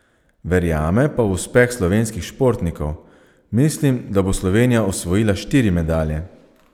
Verjame pa v uspeh slovenskih športnikov: "Mislim, da bo Slovenija osvojila štiri medalje.